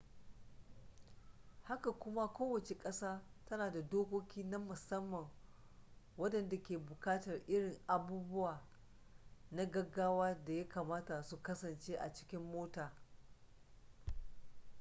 haka kuma kowace ƙasa tana da dokoki na musamman waɗanda ke buƙatar irin abubuwa na gaggawa da ya kamata su kasance a cikin mota